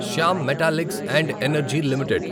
Shyam metallics and energy limited